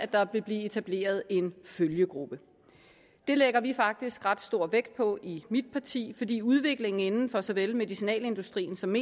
der vil blive etableret en følgegruppe det lægger vi faktisk ret stor vægt på i mit parti fordi udviklingen inden for såvel medicinalindustrien som